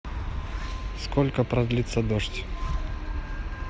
сколько продлится дождь